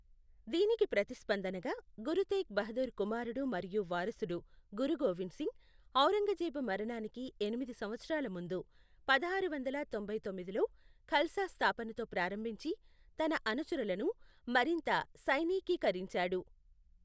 దీనికి ప్రతిస్పందనగా, గురు తేగ్ బహదూర్ కుమారుడు మరియు వారసుడు గురు గోవింద్ సింగ్, ఔరంగజేబు మరణానికి ఎనిమిది సంవత్సరాల ముందు, పదహారు వందల తొంభై తొమ్మిదిలో ఖల్సా స్థాపనతో ప్రారంభించి, తన అనుచరులను మరింత సైనికీకరించాడు.